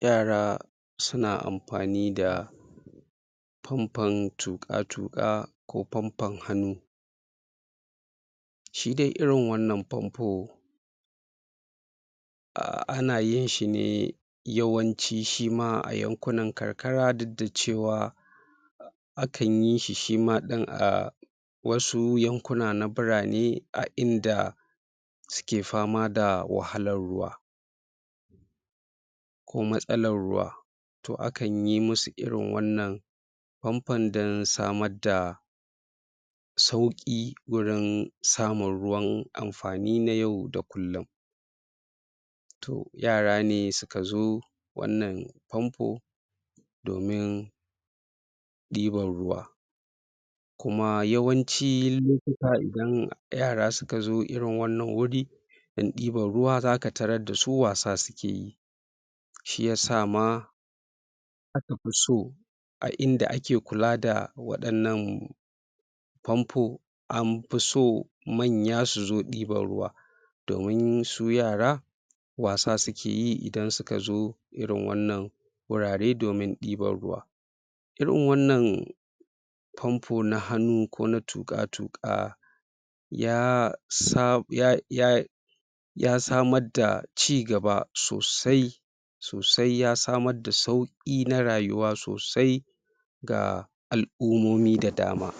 Yara suna amfani da fanfon tuƙa-tuƙa ko fanfon hannu shi dai irin wannan fanfo ah, ana yin shi ne yawanci shi ma a yankunan karkara duk da cewa akan yi shi shi ma ɗin ah, wasu yankuna na birane a inda suke fama da wahalar ruwa ko matsalar ruwa to akan yi musu irin wannan fanfon da samar da sauƙi wurin samun ruwan amfani na yau da kullun to yara ne suka zo wannan fanfo domin ɗiban ruwa kuma yawanci lokuta idan yara suka zo irin wanann wuri dan ɗiban ruwa zaka tarar da su wasu suke yi shi yasa ma aka fi so a inda ake kula da waɗannan fanfo an fi so manya su zo ɗiban ruwa domin su yara wasu suke yi idan suka zo irin wannan wurare domin ɗiban ruwa irin wannan fanfo na hannu ko na tuƙa-tuka ya sa ya ya ya samar da cigaba sosai sosai ya samar da sauƙi na rayuwa sosai ga al'ummomi da dama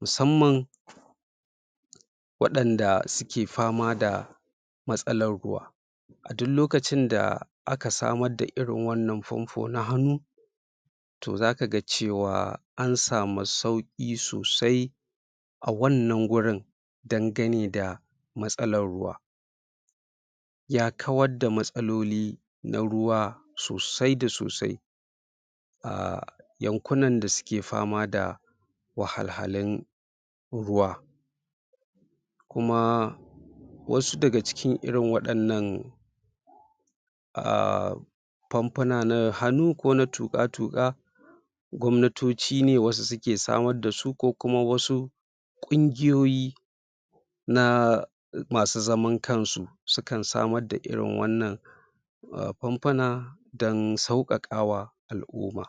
musamman waɗanda suke fama da matsalar ruwa a duk lokacin da aka samar da irin wannan fanfo na hannu to zaka ga cewa an samu sauƙi sosai a wannan gurin dangane da matsalar ruwa ya kawar da matsaloli na ruwa sosai da sosai ah, yankunan da suke fama da wahalhalun ruwa kuma wasu daga cikin irin waɗannan ah, fanfuna na hannu ko na tuƙa-tuƙa gwamnatoci ne wasu suke samar da su ko kuma wasu ƙungiyoyi na masu zaman kan su sukan samar da irin wannan fanfuna dan sauƙaƙa wa al'umma.